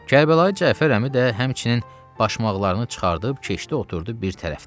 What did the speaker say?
Kərbəlayı Cəfər əmi də həmçinin başmaqlarını çıxardıb keçdi, oturdu bir tərəfdən.